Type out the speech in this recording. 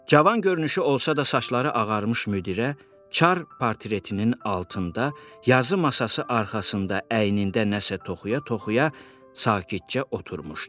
Cavan görünüşü olsa da saçları ağarmış müdirə Çar portretinin altında yazı masası arxasında əynində nəsə toxuya-toxuya sakitcə oturmuşdu.